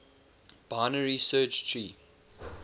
binary search tree